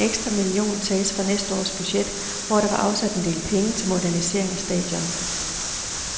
Den ekstra million tages fra næste års budget, hvor der var afsat en del penge til modernisering af stadion.